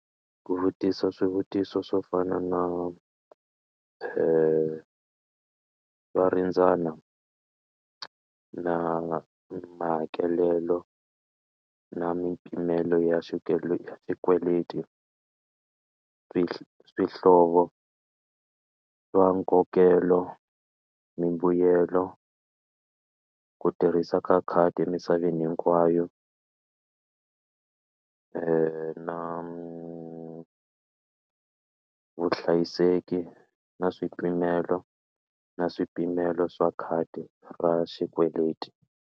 Ku vutisa swivutiso swo fana na va ringana na mahakelelo na mimpimelo ya xikweleti swihlovo swa nkokelo mimbuyelo ku tirhisa ka khadi emisaveni hinkwayo na vuhlayiseki na swipimelo na swipimelo swa khadi ra xikweleti.